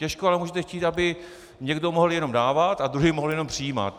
Těžko ale můžete chtít, aby někdo mohl jenom dávat a druhý mohl jenom přijímat.